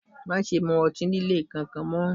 Má ṣe mu ọtí líle kankan mọ́!